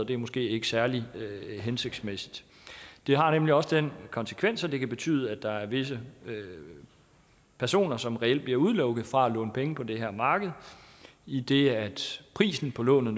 det er måske ikke særlig hensigtsmæssigt det har nemlig også den konsekvens at det kan betyde at der er visse personer som reelt bliver udelukket fra at låne penge på det her marked idet prisen på lånet